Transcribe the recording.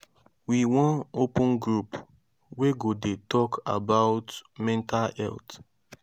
we wan open group wey go dey talk about mental health.